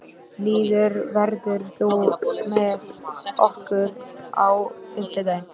Lýður, ferð þú með okkur á fimmtudaginn?